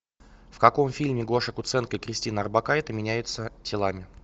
в каком фильме гоша куценко и кристина орбакайте меняются телами